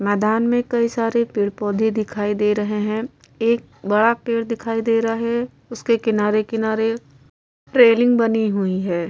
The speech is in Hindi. मैंदान में कई सारे पेड़-पौधे दिखाई दे रहे हैं। एक बड़ा पेड़ दिखाई दे रहा है। उसके किनारे-किनारे रेलिंग बनी हुई है।